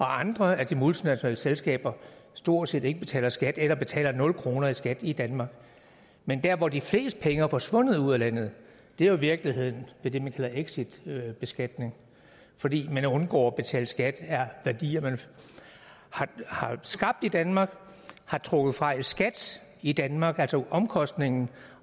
andre af de multinationale selskaber stort set ikke betaler skat eller betaler nul kroner i skat i danmark men der hvor de fleste penge er forsvundet ud af landet er jo i virkeligheden ved det man kalder exitbeskatning fordi man undgår at betale skat af værdier man har skabt i danmark har trukket fra i skat i danmark altså omkostningen